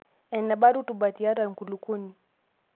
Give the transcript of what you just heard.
Enebaa rutuba tiatua enkulukuoni.